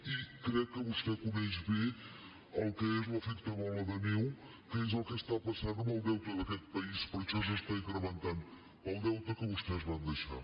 i crec que vostè coneix bé el que és l’efecte bola de neu que és el que està passant amb el deute d’aquest país per això s’està incrementant el deute que vostès van deixar